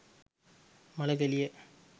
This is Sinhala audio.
මල කෙලියයි